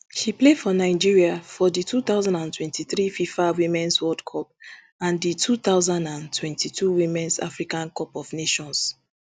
she play for nigeria for di two thousand and twenty-three fifa womens world cup and di two thousand and twenty-two womens africa cup of nations